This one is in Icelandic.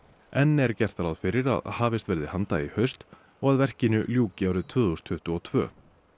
enn er gert ráð fyrir að hafist verði handa í haust og að verkinu ljúki árið tvö þúsund tuttugu og tvö